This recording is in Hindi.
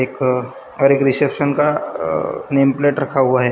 एक और एक रीसेप्शन का नेम प्लेट रखा हुआ है।